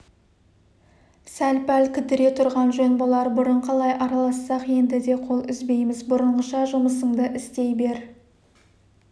сәл-пәл кідіре тұрған жөн болар бұрын қалай аралассақ енді де қол үзбейміз бұрынғыша жұмысыңды істей бер